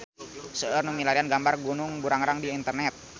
Seueur nu milarian gambar Gunung Burangrang di internet